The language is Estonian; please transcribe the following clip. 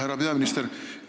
Härra peaminister!